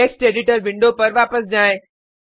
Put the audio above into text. text editor window पर वापस जाएँ